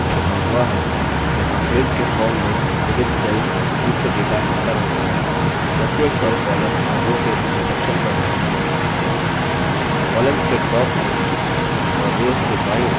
spreadsheet का मुख्य भाग वह है जहाँ grid के form में विविध cells युक्त data एंटर होता है प्रत्येक cells column और row के intersection पर है